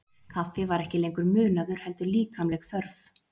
Kaffi var ekki lengur munaður heldur líkamleg þörf.